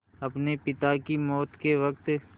अपने पिता की मौत के वक़्त